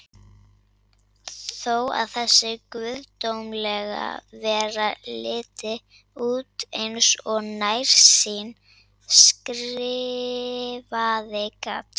Þó að þessi guðdómlega vera liti út eins og nærsýnn skrifari, gat